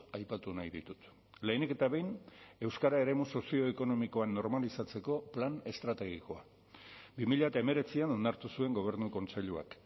aipatu nahi ditut lehenik eta behin euskara eremu sozioekonomikoan normalizatzeko plan estrategikoa bi mila hemeretzian onartu zuen gobernu kontseiluak